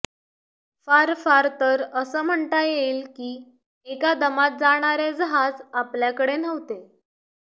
फार फार तर असं म्हणता येईल की एका दमात जाणारे जहाज आपल्याकडे नव्हते